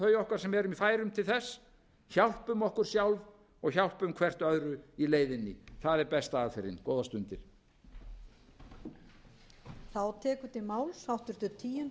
þau okkar sem eru í færum til þess hjálpum okkur sjálf hjálpum hvert öðru í leiðinni það er besta aðferðin góðar stundir steingrímur í fyrri spólu